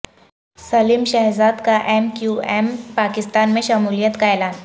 سلیم شہزاد کا M Q M Pakistan میں شمولیت کا اعلان